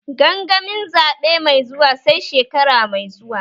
Gangamin zaɓe mai zuwa sai shekara mai zuwa